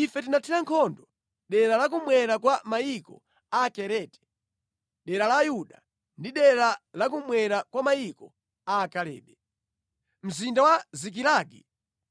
Ife tinathira nkhondo dera la kummwera kwa mayiko a Akereti, dera la Yuda, ndi dera la kummwera kwa mayiko a Kalebe. Mzinda wa Zikilagi